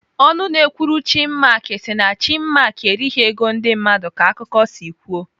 Ọnụ na-ekwuru Chinmark si na Chinmark erighị ego ndị mmadụ ka akụkọ si kwuo.